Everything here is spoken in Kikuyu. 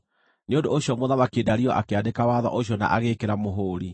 Nĩ ũndũ ũcio Mũthamaki Dario akĩandĩka watho ũcio na agĩĩkĩra mũhũũri.